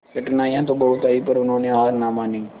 कठिनाइयां तो बहुत आई पर उन्होंने हार ना मानी